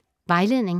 Vejledning: